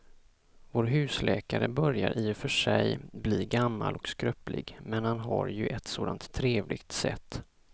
Vår husläkare börjar i och för sig bli gammal och skröplig, men han har ju ett sådant trevligt sätt!